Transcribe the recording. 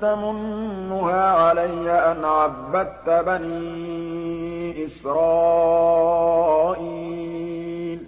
تَمُنُّهَا عَلَيَّ أَنْ عَبَّدتَّ بَنِي إِسْرَائِيلَ